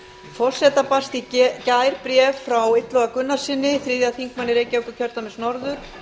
forseta barst í gær bréf frá illuga gunnarssyni þriðji þingmaður reykjavíkurkjördæmis norður